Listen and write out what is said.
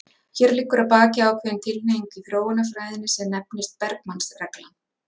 Hér liggur að baki ákveðin tilhneiging í þróunarfræðinni sem nefnist Bergmanns reglan.